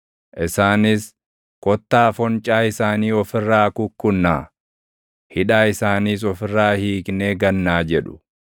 isaanis, “Kottaa foncaa isaanii of irraa kukkunnaa; hidhaa isaaniis of irraa hiiknee gannaa” jedhu.